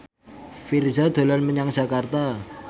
Virzha dolan menyang Jakarta